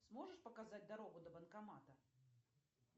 сможешь показать дорогу до банкомата